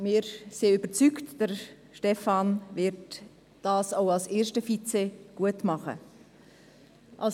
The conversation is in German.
Wir sind überzeugt, dass Stefan Costa seine Sache auch als erster Vizepräsident gut machen wird.